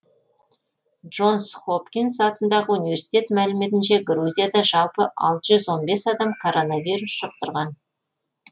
джонс хопкинс атындағы университет мәліметінше грузияда жалпы алты жүз он бес адам коронавирус жұқтырған